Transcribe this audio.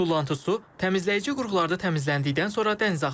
Tullantı su təmizləyici qurğularda təmizləndikdən sonra dənizə axıdılır.